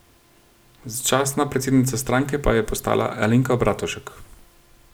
Začasna predsednica stranke pa je postala Alenka Bratušek.